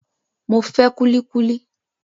Mo fẹ́ kúlí kúlí